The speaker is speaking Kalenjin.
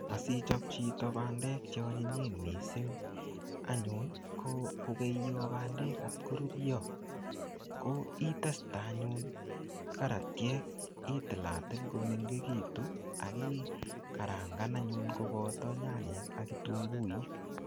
Asichap chito bandek che anyinyen missing anyun, ko kokaiyoo bandek ak kururio. Ko iteste anyun karatiek. Itilatil komengekitu, akikarangan anyun koboto nyanyek ak kitunguik.